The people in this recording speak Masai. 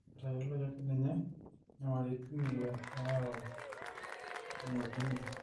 etayioloki ake ninye inyamalitin ile nayau eng'ojini